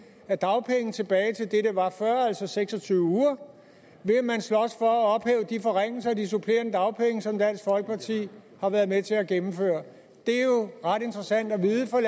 af dagpengeret tilbage til det det var før altså seks og tyve uger vil man slås for at ophæve de forringelser af de supplerende dagpenge som dansk folkeparti har været med til at gennemføre det er jo ret interessant at vide for